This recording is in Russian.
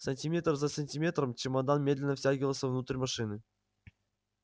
сантиметр за сантиметром чемодан медленно втягивался внутрь машины